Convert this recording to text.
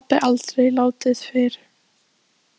Svona hafði pabbi aldrei látið fyrr.